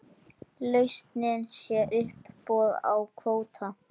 Lausnin sé uppboð á kvóta.